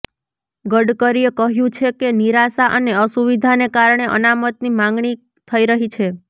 ગડકરીએ કહ્યુ છે કે નિરાશા અને અસુવિધાને કારણે અનામતની માગણી થઈ રહી છે